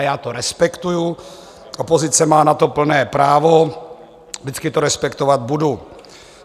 A já to respektuji, opozice má na to plné právo, vždycky to respektovat budu.